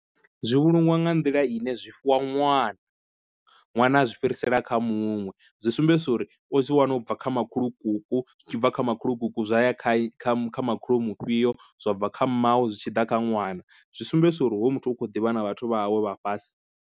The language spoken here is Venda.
Zwi vhulungiwa nga nḓila ine zwi fhiwa ṅwana, ṅwana a zwi fhirisela kha muṅwe, zwi sumbedzisa uri u zwi wana ubva kha makhulukuku zwi tshibva kha makhulukuku zwa ya kha makhulu mufhio, zwa bva kha mmawe, zwi tshi ḓa kha ṅwana zwi sumbedzisa uri hoyu muthu u khou ḓivha na vhathu vha hawe vha fhasi.